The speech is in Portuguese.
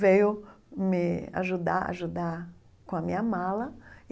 Veio me ajudar, ajudar com a minha mala.